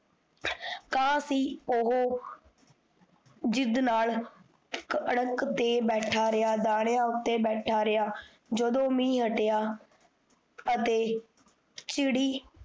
ਤਾਂ ਵੀ ਓਹੋ ਜਿਦ ਨਾਲ ਇਕ ਅੜ੍ਹਕ ਤੇ ਬੈਠਾ ਰਿਹਾ, ਦਾਨਾਂ ਉੱਤੇ ਬੈਠਾ ਰਿਹਾ, ਜਦੋਂ ਮੀਹ ਹੱਟਿਆ, ਅਤੇ, ਚਿੜੀ